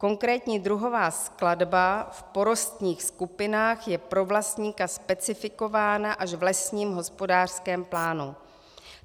Konkrétní druhová skladba v porostních skupinách je pro vlastníka specifikována až v lesním hospodářském plánu.